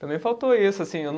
Também faltou isso, assim eu não